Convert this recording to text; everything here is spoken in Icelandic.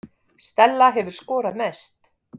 Stella hefur skorað mest